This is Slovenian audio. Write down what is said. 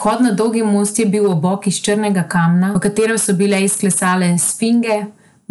Vhod na Dolgi most je bil obok iz črnega kamna, v katerem so bile izklesane sfinge,